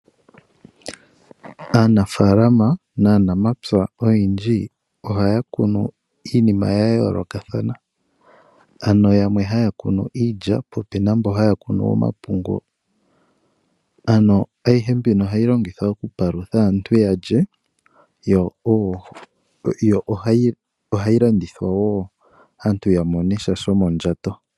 Aanafaalama na namapya olundji ohaya kunu iinima ya yoolokathana, ano yamwe haya kunu iilya po opuna mboka haya kunu omapungu, ano ayihe mbika ohayi longithwa okupalutha aantu ya lye yo ohayi llandithwa wo aantu ya monesha shomondjato.